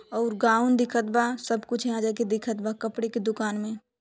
और गाउन दिखत बा सब कुछ यहाँ जाके दिखत बा कपड़े कि दुकान में --